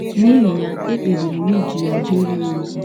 N’ihi ya, ekpebiri m iji ya jeere ya ozi.